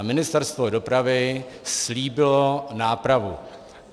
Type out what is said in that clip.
A Ministerstvo dopravy slíbilo nápravu.